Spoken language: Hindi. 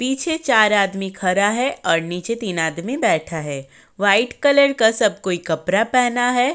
पीछे चार आदमी खड़ा है और नीचे तीन आदमी बैठा है। व्हाइट कलर का सब कोई कपड़ा पहना है।